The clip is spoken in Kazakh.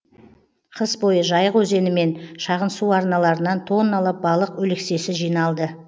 қыс бойы жайық өзені мен шағын су арналарынан тонналап балық өлексесі жиналды